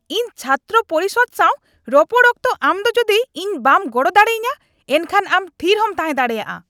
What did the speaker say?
ᱤᱧ ᱪᱷᱟᱛᱨᱚ ᱯᱚᱨᱤᱥᱚᱫ ᱥᱟᱶ ᱨᱚᱯᱚᱲ ᱚᱠᱛᱚ ᱟᱢ ᱫᱚ ᱡᱩᱫᱤ ᱤᱧ ᱵᱟᱢ ᱜᱚᱲᱚ ᱫᱟᱲᱮᱭᱟᱹᱧᱟᱹ, ᱮᱱᱠᱷᱟᱱ ᱟᱢ ᱛᱷᱤᱨ ᱦᱚᱸᱢ ᱛᱟᱦᱮᱸ ᱫᱟᱲᱮᱭᱟᱜᱼᱟ ᱾